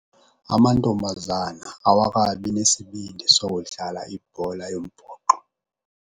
Amantombazana awakabi nesibindi sokudlala ibhola yombhoxo.